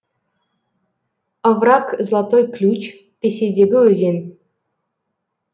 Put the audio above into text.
овраг златой ключ ресейдегі өзен